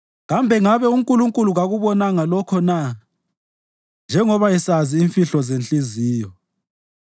kambe ngabe uNkulunkulu kakubonanga lokho na, njengoba esazi imfihlo zenhliziyo?